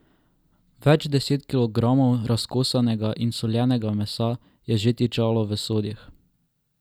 Več deset kilogramov razkosanega in soljenega mesa je že tičalo v sodih.